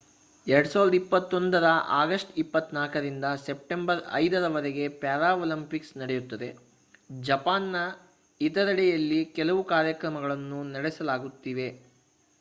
2021 ರ ಅಗಸ್ಟ್ 24 ರಿಂದ ಸೆಪ್ಟೆಂಬರ್ 5 ರವರೆಗೆ ಪ್ಯಾರಾಲಿಂಪಿಕ್ಸ್ ನಡೆಯುತ್ತದೆ. ಜಪಾನ್‌ನ ಇತರೆಡೆಯಲ್ಲಿ ಕೆಲವು ಕಾರ್ಯಕ್ರಮಗಳು ನಡೆಯಲಿವೆ